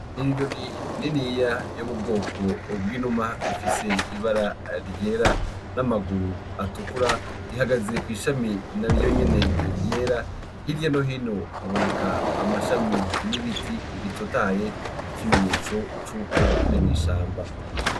Inyoni niniya yo mu bwoko bw'inuma ifise ibara ryera n'amaguru atukura ihagaze kw'ishami naryo nyene ryera , hirya no hino haboneka amashami n'ibiti bitotahaye ikimenyetso cuko ari mw'ishamba.